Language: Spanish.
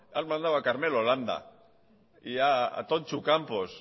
han mandado a carmelo landa y a tontxu campos